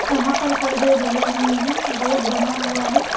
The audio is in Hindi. यहाँ पर पर्दे डले हुए हैं गेट बना हुआ है।